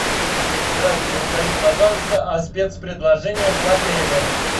здравствуйте расскажите пожалуйста о спец предложениях в отеле